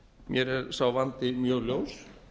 mér er sá vandi mjög ljós